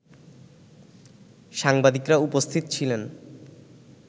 সাংবাদিকরা উপস্থিত ছিলেন